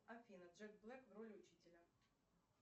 афина джек блэк в роли учителя